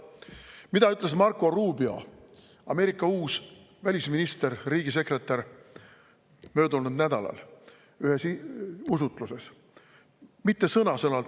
Mida ütles Marco Rubio, Ameerika uus välisminister, riigisekretär, möödunud nädalal ühes usutluses?